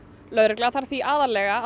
lögreglan þarf því aðallega að